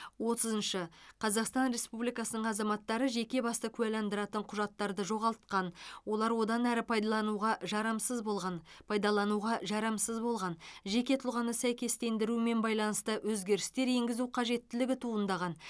отызыншы қазақстан республикасының азаматтары жеке басты куәландыратын құжаттарды жоғалтқан олар одан әрі пайдалануға жарамсыз болған пайдалануға жарамсыз болған жеке тұлғаны сәйкестендірумен байланысты өзгерістер енгізу қажеттілігі туындаған